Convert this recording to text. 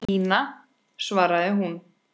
Ína, svaraði hún.